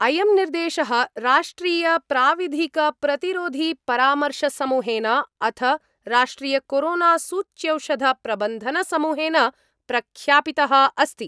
अयं निर्देशः राष्ट्रियप्राविधिकप्रतिरोधिपरामर्शसमूहेन अथ राष्ट्रियकोरोनासूच्यौषधप्रबन्धनसमूहेन प्रख्यापित: अस्ति।